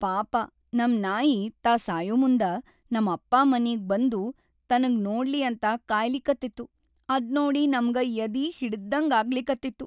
ಪಾಪ ನಮ್ ನಾಯಿ ತಾ ಸಾಯಮುಂದ ನಮ್ ಅಪ್ಪಾ ಮನಿಗ್‌ ಬಂದು ತನಗ್‌ ನೋಡ್ಲಿ ಅಂತ ಕಾಯ್ಲಿಕತ್ತಿತ್ತು, ಅದ್ನೋಡಿ‌ ನಮ್ಗ ಯದಿ ಹಿಂಡ್ದಂಗ್ ಆಗ್ಲಿಕತ್ತಿತ್ತು.